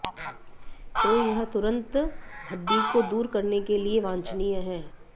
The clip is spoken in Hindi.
तो यह तुरंत हड्डी को दूर करने के लिए वांछनीय है